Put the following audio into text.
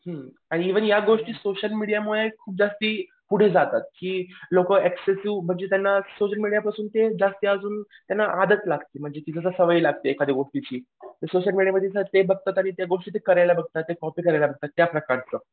हुं आणि या गोष्टीत सोशल मीडियामुळे खूप जास्ती पुढे जातात की लोकं ऍक्सेसिव्ह म्हणजे त्यांना सोशल मीडिया पासून जास्ती आजून त्यांना आदत लागते म्हणजे की सवय लागते एखाद्या गोष्टीची सोशल मीडियामध्ये ते बघता तरी ते करायला बघतात ते कॉपी करायला बघतात